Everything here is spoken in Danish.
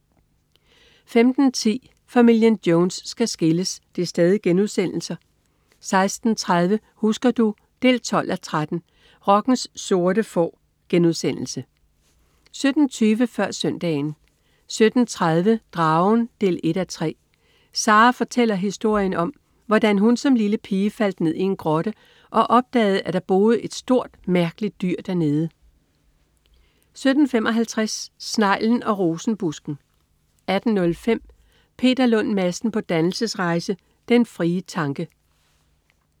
15.10 Familien Jones skal skilles* 16.30 Husker du? 12:13. Rockens sorte får* 17.20 Før Søndagen 17.30 Dragen 1:3. Sara fortæller historien om, hvordan hun som lille pige faldt ned i en grotte og opdagede, at der boede et stort, mærkeligt dyr der nede 17.55 Sneglen og rosenbusken 18.05 Peter Lund Madsen på dannelsesrejse. Den frie tanke